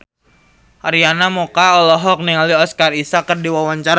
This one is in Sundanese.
Arina Mocca olohok ningali Oscar Isaac keur diwawancara